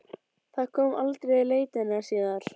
Það kom aldrei í leitirnar síðar.